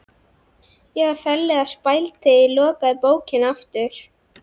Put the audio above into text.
Ég var ferlega spæld þegar ég lokaði bókinni aftur.